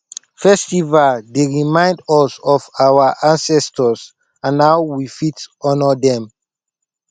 festivals dey remind us of our ancestors and how we fit honor dem